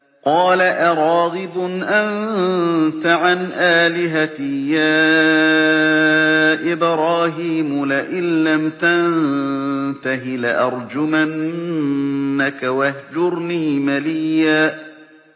قَالَ أَرَاغِبٌ أَنتَ عَنْ آلِهَتِي يَا إِبْرَاهِيمُ ۖ لَئِن لَّمْ تَنتَهِ لَأَرْجُمَنَّكَ ۖ وَاهْجُرْنِي مَلِيًّا